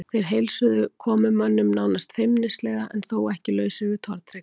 Þeir heilsuðu komumönnum nánast feimnislega en þó ekki lausir við tortryggni.